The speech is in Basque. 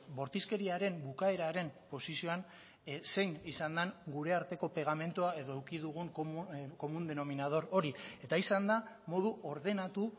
bortizkeriaren bukaeraren posizioan zein izan den gure arteko pegamendua edo eduki dugun común denominador hori eta izan da modu ordenatu